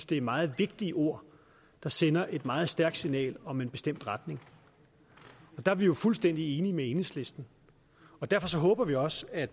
det er meget vigtige ord der sender et meget stærkt signal om en bestemt retning der er vi jo fuldstændig enige med enhedslisten og derfor håber vi også at